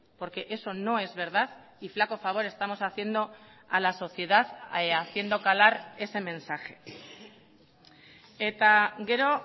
porque eso no es verdad y flaco favor estamos haciendo a la sociedad haciendo calar ese mensaje eta gero